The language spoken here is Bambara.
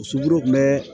Muso bolo kun bɛ